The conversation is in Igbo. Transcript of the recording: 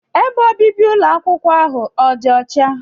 Ebe obibi ụlọ ahụ akwụkwọ ọ dị ọcha?